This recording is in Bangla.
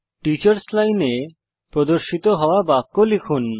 টিচার্স লাইনে প্রদর্শিত হওয়া বাক্য লিখুন